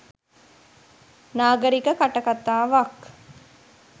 නාගරික කටකතාවක්